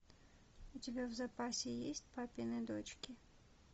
у тебя в запасе есть папины дочки